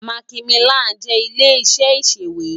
Màkímilán jè ilé iṣè iṣéwé